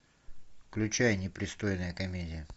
включай непристойная комедия